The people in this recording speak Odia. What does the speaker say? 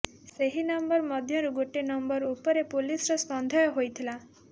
ସେହି ନମ୍ବର ମଧ୍ୟରୁ ଗୋଟିଏ ନମ୍ବର ଉପରେ ପୋଲିସର ସନ୍ଦେହ ହୋଇଥିଲା